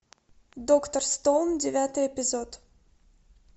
доктор стоун девятый эпизод